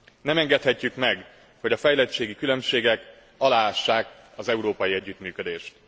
Nem engedhetjük meg, hogy a fejlettségi különbségek aláássák az európai együttműködést.